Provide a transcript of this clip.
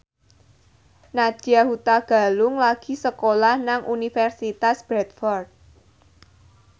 Nadya Hutagalung lagi sekolah nang Universitas Bradford